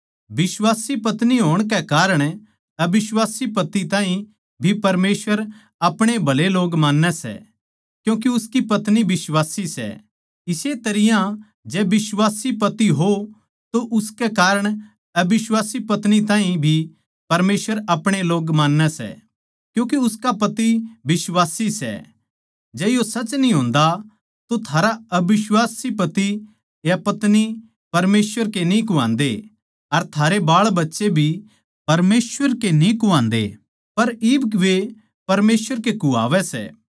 बिश्वासी पत्नी होण के कारण अबिश्वासी पति ताहीं भी परमेसवर अपणे ए लोग मान्नै सै क्यूँके उसकी पत्नी बिश्वासी सै इस्से तरियां जै बिश्वासी पति हो तो उसके कारण अबिश्वासी पत्नी ताहीं भी परमेसवर अपणे ए लोग मान्नै सै क्यूँके उसका पति बिश्वासी सै जै यो सच न्ही होन्दा तो थारा अबिश्वासी पति या पत्नी परमेसवर के न्ही कुह्वावै सै अर थारे बाळबच्चे भी परमेसवर के न्ही कुहान्दे सै पर इब वे परमेसवर के कुह्वावै सै